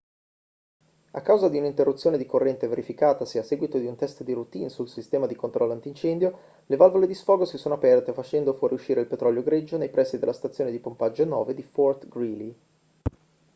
a causa di un'interruzione di corrente verificatasi a seguito di un test di routine sul sistema di controllo antincendio le valvole di sfogo si sono aperte facendo fuoriuscire il petrolio greggio nei pressi della stazione di pompaggio 9 di fort greely